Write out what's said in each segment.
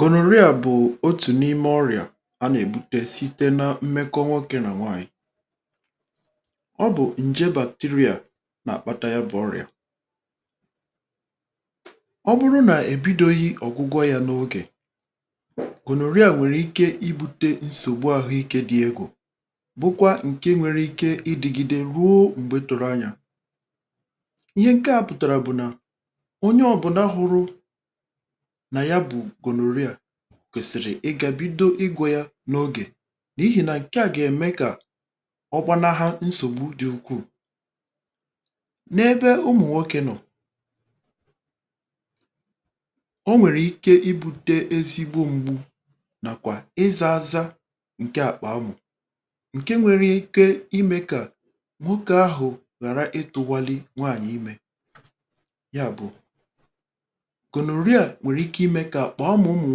Gònòrịà bụ̀ otù n’ime ọrịà a nà-èbute site na mmekọ nwokė nà nwaanyị̀. Ọ bụ̀ ǹje bacteria nà-àkpata ya bụ̀ ọrịà. Ọ bụrụ nà ebidoghị ọ̀gwụgwọ ya n’ogè, gònòrịà nwèrè ike ibu̇tė nsògbu ahụ̀ ike dị̇ egwu bụkwa ǹke nwere ike idigide ruo m̀gbè tere anyà. Ihe nke a pụtara bụ̀ na onye ọbụna hụrụ na ya bu gònòrịà, kwèsịrị ịgȧ bido ịgwȯ ya n’ogè nà ihì nà ǹke à gà-ème kà ọgbana ha nsògbu dị̇ ukwuu. N’ebe ụmụ̀ nwokė nọ̀, o nwèrè ike ibu̇te ezigbo m̀gbu nàkwà ịzȧ ȧzȧ ǹke àkpaȧ mụ̀ ǹke nwere ike imė kà nwoke ahụ̀ ghàra ịtụ̇wȧli nwaànyị̀ imė. Nya bụ, gònòrịà nwèrike ime kà àkpà amụ̀ ụmụ̀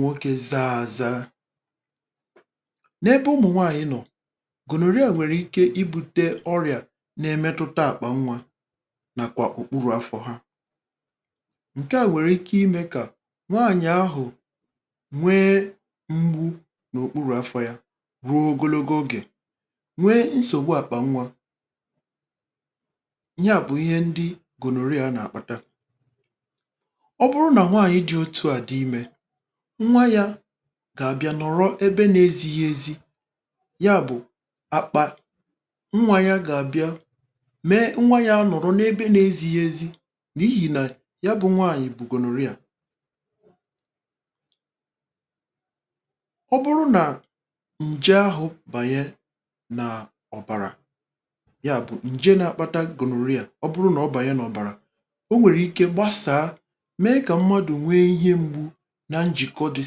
nwokė zȧa ȧza. N’ebe ụmụ̀ nwȧàyị̀ nọ̀, gònòrịà nwèrike ibu̇ta ọrịà na-emetụta àkpà nwȧ nàkwà òkpuru̇ afọ̇ hȧ. Nke à nwèrike imė kà nwaànyị̀ ahụ̀ nwee mgbu̇ n’òkpuru̇ afọ̇ ya ruo ogologo ogè, nwee nsògbu àkpà nwȧ ihe à bụ̀ ihe ndị gònòrịà nà-àkpata. Ọ bụrụ nà nwaànyị̀ dị otu àdị imė, nwa yȧ gà-àbịa nọ̀rọ ebe na-ezighị ezi ya bụ̀ àkpà nwa yȧ gà-àbịa mee nwa yȧ anọ̀rọ n’ebe na-ezighị ezi n’ihì nà ya bụ̇ nwaànyị̀ bu gonorrhea. Ọ bụrụ nà ǹje ahụ̀ bànye nà ọ̀bàrà, nya bụ̀ ǹje na-akpata gonorrhea ọ bụrụ nà ọ bànye nà ọ̀bàrà, o nwèrike gbasàa mee kà mmadụ̀ nwee ihe mgbu na njìkọ dị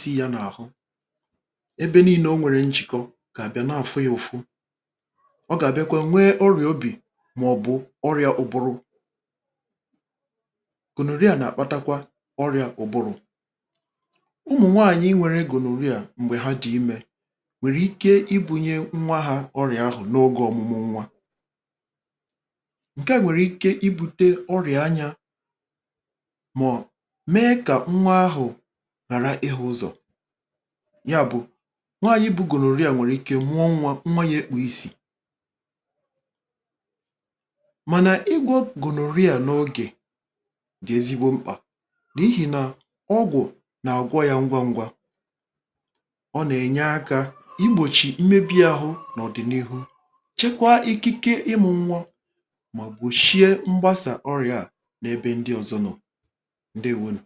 sị yȧ n’àhụ, ebe nii̇nė o nwèrè njìkọ gàà bịa na-àfụ yùfụ. Ọ gàà bịakwa nwee ọrị̀à obì màọ̀bụ̀ ọrị̀à ụbụrụ. Gònòrịà nà-àkpatakwa ọrị̇à ụbụrụ̀. Ụmụ̀ nwaànyị̀ nwèrè gònòrịà m̀gbè ha dị imė, nwèrike ibu̇nyė nwa hȧ ọrị̀à ahụ̀ n’oge ọ̇mụ̇mụ̇ nwa. Nke à nwèrike ibu̇tė ọrị̀à anyȧ mọ mee ka nwa ahụ ghàra ịhụ̇ ụzọ̀. Nya bụ̀, nwaànyị bu gònòrịà nwèrike mụọ nwa, nwa yȧ ekpuò isì. Mànà igwọ gònòrịà n’ogè dị̀ ezigbo mkpà nà ihì nà ọgwụ̀ nà-àgwọ yȧ ngwàngwȧ. Ọ nà-ènye akȧ igbòchì mmebi̇ ahụ n’ọ̀dị̀nihu chekwa ikike ịmụ̇ nwọ mà gbòshie mgbasà ọrị̀à n’ebe ndị ọ̀zọ nọ̀, ndewonu.